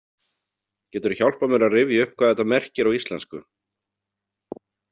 Geturðu hjálpað mér að rifja upp hvað þetta merkir á íslensku?